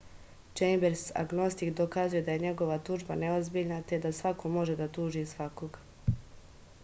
čejmbers agnostik dokazuje da je njegova tužba neozbiljna te da svako može da tuži svakog